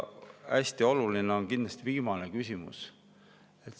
Hästi oluline on kindlasti viimane küsimus.